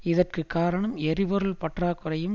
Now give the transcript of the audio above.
இதற்கு காரணம் எரிபொருள் பற்றாக்குறையும்